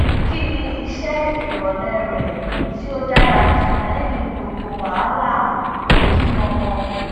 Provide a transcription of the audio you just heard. ki ni iṣe irọlẹ rẹ ti o dara ju lẹyin gbogbo wahala ojumọmọ